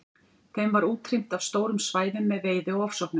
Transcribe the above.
Þeim var útrýmt af stórum svæðum með veiði og ofsóknum.